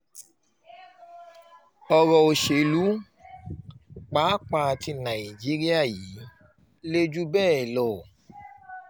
ọ̀rọ̀ òṣèlú pàápàá tí nàìjíríà yìí le jù bẹ́ẹ̀ lọ